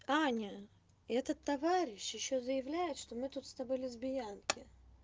аня этот товарищ ещё заявляет что мы тут с тобой лесбиянки